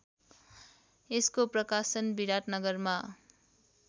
यसको प्रकाशन विराटनगरमा